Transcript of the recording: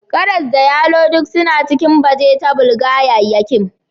Karas da yalo duk suna cikin bajetabul/gayyayyakim